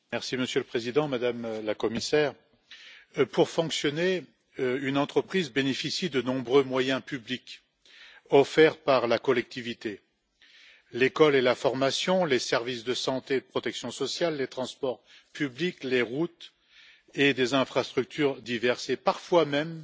Monsieur le Président, Madame la Commissaire, pour fonctionner, une entreprise bénéficie de nombreux moyens publics offerts par la collectivité l'école et la formation, les services de santé et de protection sociale, les transports publics, les routes et des infrastructures diverses, et parfois même